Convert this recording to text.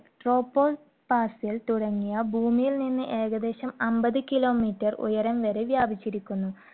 tropopause ൽ തുടങ്ങിയ ഭൂമിയിൽ നിന്ന് ഏകദേശം അമ്പത് kilometer ഉയരം വരെ വ്യാപിച്ചിരിക്കുന്നു.